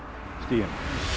stíginn